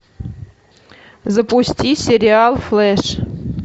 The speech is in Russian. запусти сериал флеш